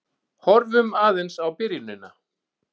Horfum aðeins á byrjunina.